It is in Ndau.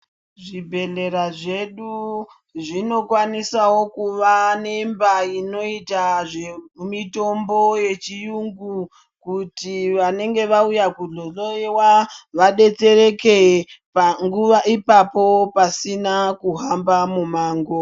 Zvibhedhlera zvedu zvinokwanisawo kuva nemba inoita zvemitombo yechiyungu kuti vanenge vauya kuzohloiwa vadetsereke panguva ipapo pasina kuhamba mumango.